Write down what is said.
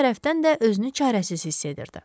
Bir tərəfdən də özünü çarəsiz hiss edirdi.